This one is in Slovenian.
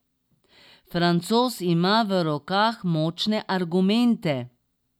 Francoz ima v rokah močne argumente.